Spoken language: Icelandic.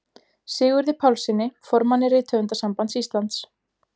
Sigurði Pálssyni, formanni Rithöfundasambands Íslands.